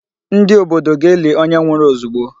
Ndị obodo ga-eli onye nwụrụ ozugbo.